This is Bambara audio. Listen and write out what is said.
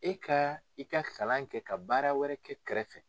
E ka i ka kalan kɛ ka baara wɛrɛ kɛ kɛrɛfɛ